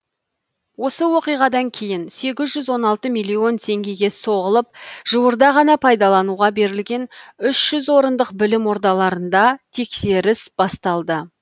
осы оқиғадан кейін сегіз жүз он алты миллион теңгеге соғылып жуырда ғана пайдалануға берілген үш жүз орындық білім ордаларында тексеріс басталды